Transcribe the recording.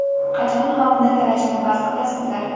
Qachon xalqni talashni bas qilasizlar?